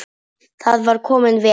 Það var kominn vetur.